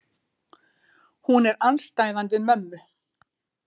Hún er andstæðan við mömmu.